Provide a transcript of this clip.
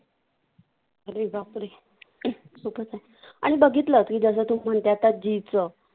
अरे बाप रे आणि बघितलं की